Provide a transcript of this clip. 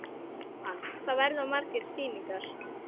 Jóhann: Hvað verða margar sýningar?